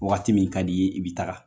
Wagati min ka di i ye, i bi taga.